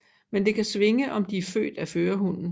Men det kan svinge om de er født af førerhunnen